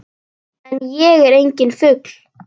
En ég er enginn fugl.